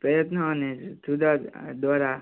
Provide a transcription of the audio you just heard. પ્રયત્નો અને દ્વારા